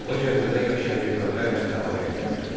O Gəncədə yaşayan ermənilərlə əlaqə yaratdı.